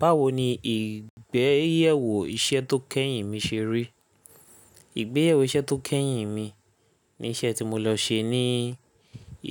Báwo ni ìgbéyẹ̀wò iṣẹ́ tó kẹ́yìn mi ṣe rí? Ìgbéyẹ̀wò iṣẹ́ tó kẹ́yìn mi ni iṣẹ́ tí mo lọ ṣe ní